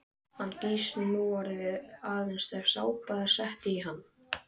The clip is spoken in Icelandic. Hann gýs núorðið aðeins ef sápa er sett í hann.